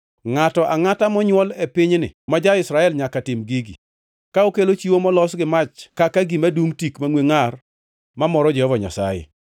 “ ‘Ngʼato angʼata monywol e pinyni ma ja-Israel nyaka tim gigi, ka okelo chiwo molos gi mach kaka gima dungʼ tik mangʼwe ngʼar mamoro Jehova Nyasaye.